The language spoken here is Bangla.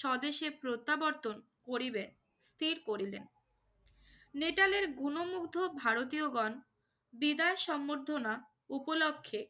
স্বদেশে প্রত্যাবর্তন করিবেন স্থির করিলেন। নেটালের গুণমুগ্ধ ভারতীয়গণ দিদার সংবর্ধনা উপলক্ষ্যে